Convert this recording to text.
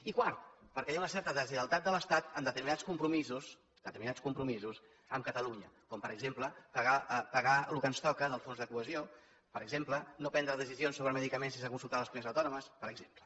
i quart perquè hi ha una certa deslleialtat de l’estat en determinats compromisos determinats compromisos amb catalunya com per exemple pagar el que ens toca del fons de cohesió per exemple no prendre decisions sobre medicaments sense consultar les comunitats autònomes per exemple